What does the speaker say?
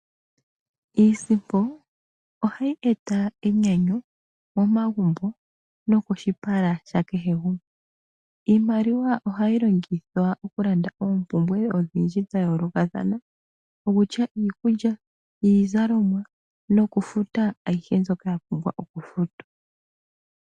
Iisimpo ohayi eta enyanyu momagumbo nokoshipala sha kehe gumwe. Iimaliwa ohayi longithwa okulanda oompumbwe odhindji dha yolokathana ngaashi iikulya, iizalomwa nokufuta ayihe mbyoka ya pumbwa okufutwa.